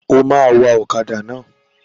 O máa wa ọkàdà náà.